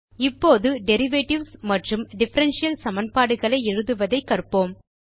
இப்போது டெரிவேட்டிவ்ஸ் மற்றும் டிஃபரன்ஷியல் சமன்பாடுகளை எழுதுவதை கற்போம்